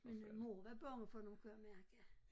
Men øh mor var bange for nogen kunne jeg mærke